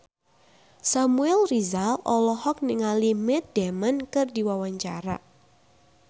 Samuel Rizal olohok ningali Matt Damon keur diwawancara